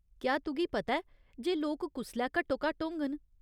क्या तुगी पता ऐ जे लोक कुसलै घट्टोघट्ट होङन ?